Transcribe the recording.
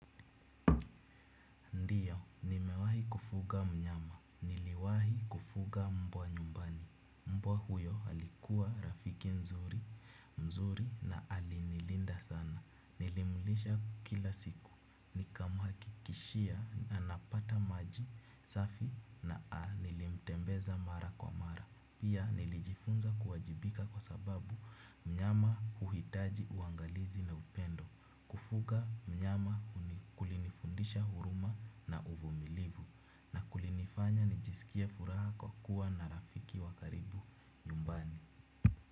Ndio, nimewahi kufuga mnyama. Niliwahi kufuga mbwa nyumbani. Mbwa huyo alikuwa rafiki mzuri na alinilinda sana. Nilimlisha kila siku. Nikamhakikishia, anapata maji, safi na, nilimtembeza mara kwa mara. Pia, nilijifunza kuwajibika kwa sababu mnyama huhitaji, uangalizi na upendo. Kufuga mnyama kulini fundisha huruma na uvu milivu na kulini fanya nijisikie furaha kwa kuwa na rafiki wakaribu nyumbani.